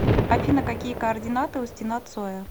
афина какие координаты у стена цоя